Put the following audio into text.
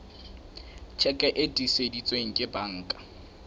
tjheke e tiiseditsweng ke banka